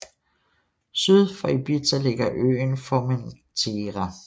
Syd for Ibiza ligger øen Formentera